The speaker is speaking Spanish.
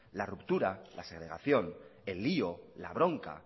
la ruptura la segregación el lío la bronca